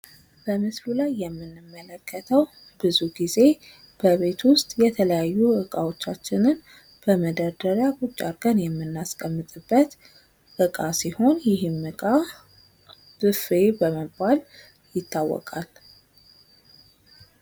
በምስሉ ላይ የምንመለከተው ብዙ ጊዜ በቤት ውስጥ የተለያዩ እቃዎቻችንን በመደርደሪያ ቁጭ አድርገን የምናስቀምጥበት እቃ ሲሆን ይህም እቃ ብፌ በመባል ይታወቃል።